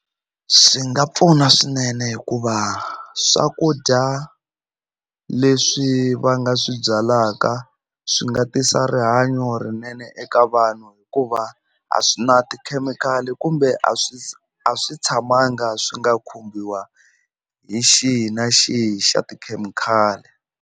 Swi nga pfuna swinene hikuva swakudya leswi va nga swi byalaka swi nga tisa rihanyo rinene eka vanhu hikuva a swi na tikhemikhali kumbe a swi a swi tshamanga swi nga khumbiwa hi xihi na xihi xa tikhemikhali.